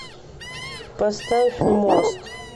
поставь мост